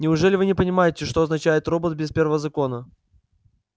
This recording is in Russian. неужели вы не понимаете что означает робот без первого закона